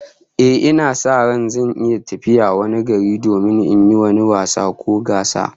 Ehh, ina sa ran zan iya tafiya wani gari domin yin wani wasa ko gasa